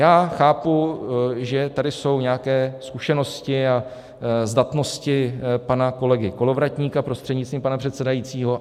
Já chápu, že tady jsou nějaké zkušenosti a zdatnosti pana kolegy Kolovratníka, prostřednictvím pana předsedajícího.